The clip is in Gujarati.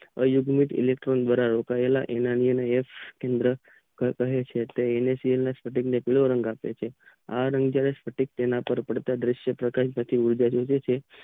આ વાયુ એટોમીક ધરાવે છે એમાં કહે છે એલેટીક ના કહે છે આ રાગ ના તાના ઉપર પડકાર રૂપ લાગે છે